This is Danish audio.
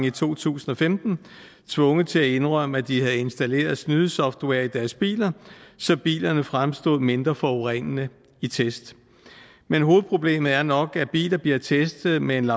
i to tusind og femten tvunget til at indrømme at de havde installeret snydesoftware i deres biler så bilerne fremstod mindre forurenende i test men hovedproblemet er nok at biler bliver testet med en